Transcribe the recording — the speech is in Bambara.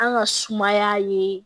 An ka sumaya ye